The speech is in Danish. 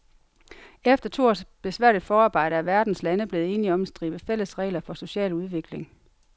Efter to års besværligt forarbejde er verdens lande blevet enige om en stribe fælles regler for social udvikling.